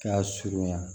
Ka surunya